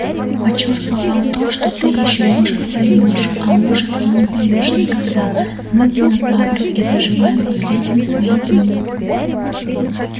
почувствовал то что ты ещё может поймёшь а может и не поймёшь никогда мы динозавры и доживаем последние свои дни